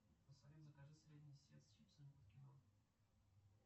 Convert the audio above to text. салют закажи средний сет с чипсами под кино